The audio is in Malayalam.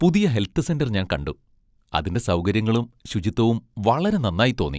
പുതിയ ഹെൽത്ത് സെന്റർ ഞാൻ കണ്ടു, അതിന്റെ സൗകര്യങ്ങളും ,ശുചിത്വവും വളരെ നന്നായി തോന്നി.